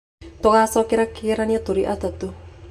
Tũgacokeria kĩgeranio tũrĩ atatũ.